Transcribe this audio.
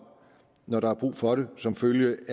når der er brug for det som følge